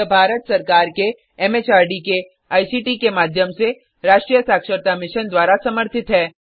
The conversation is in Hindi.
यह भारत सरकार के एम एच आर डी के आई सी टी के माध्यम से राष्ट्रीय साक्षरता मिशन द्वारा समर्थित है